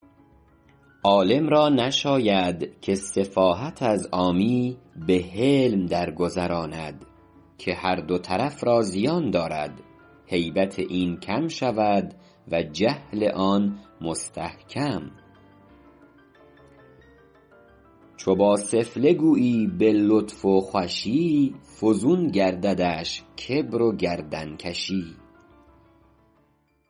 عالم را نشاید که سفاهت از عامی به حلم درگذراند که هر دو طرف را زیان دارد هیبت این کم شود و جهل آن مستحکم چو با سفله گویی به لطف و خوشی فزون گرددش کبر و گردنکشی